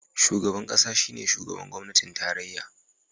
Shugaban kasa shine shugaban gwamnatin tarayya